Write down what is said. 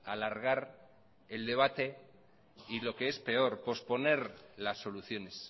alargar el debate y lo que es peor posponer las soluciones